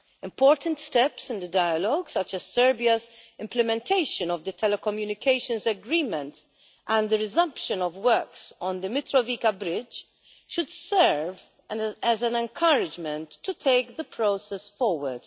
Important steps in the dialogue, such as Serbia's implementation of the telecommunications agreement and the resumption of works on the Mitrovica bridge, should serve as an encouragement to take the process forward.